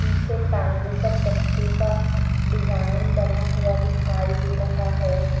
पीछे टांगे का चक्के का डिजाइन बना हुआ दिखाई दे रहा है।